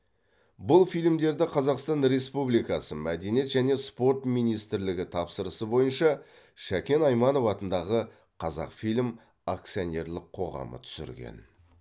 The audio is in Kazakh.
бұл фильмдерді қазақстан республикасы мәдениет және спорт министрлігі тапсырысы бойынша шакен айманов атындағы қазақфильм акционерлік қоғамы түсірген